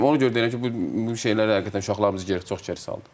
Ona görə deyirəm ki, bu bu şeylər həqiqətən uşaqlarımızı geri çox geri salır.